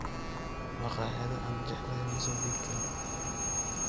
Makhaayada aan jeclahay ma soo dhiibtaa?